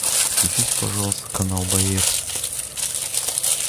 включите пожалуйста канал боец